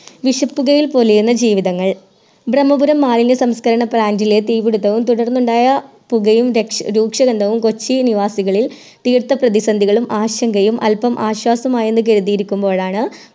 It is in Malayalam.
വിശപ്പുകയിൽ പൊലിയുന്ന ജീവിതങ്ങൾ ബ്രമ്മപുരം മാലിന്യ സംസ്‌ക്കരണ Plant ലെ തീപ്പിടുത്തവും തുടർന്നുണ്ടായ പുകയും രക്ഷ രൂക്ഷഗന്ധവും കൊച്ചി നിവാസികളിൽ തീർത്ത പ്രതിസന്ധികളും ആശങ്കയും അൽപ്പം ആശ്വാസമായെന്ന് കരുതിരിക്കുമ്പോഴാണ്